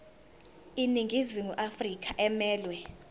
iningizimu afrika emelwe